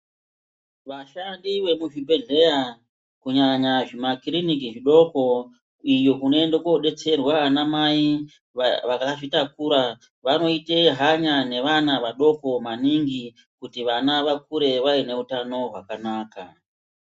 Vashandi vemuzvibhedhlera kunyanya zvimakiriniki zvidoko iyo kunoenda kodetserwa ana mai vakazvitakura vanoita hanya nevana vadoko maningi kuti vana vakure vaine utano hwakanaka.